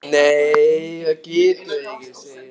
Nei það getum við ekki, segi ég þá.